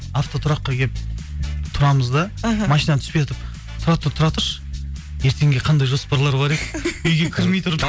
автотұраққа келіп тұрамыз да іхі машинадан түспейатып тұра тұр тұра тұршы ертеңге қандай жоспарлар бар еді үйге кірмей тұрып